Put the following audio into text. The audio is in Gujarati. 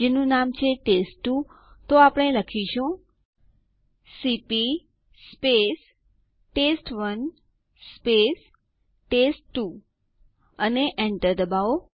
જેમ આ ટ્યુટોરીયલ માં આપણે આગળ વધીશું તેમ તેના વિકલ્પો વિશે જાણીશું